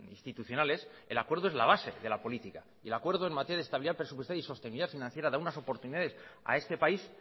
institucionales el acuerdo es la base de la política y el acuerdo en materia de estabilidad presupuestaria y sostenibilidad financiera da unas oportunidades a este país